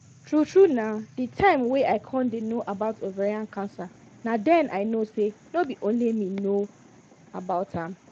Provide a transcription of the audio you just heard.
true truena the time wey i con dey no about ovarian cancer na den i know say no be only me no know about am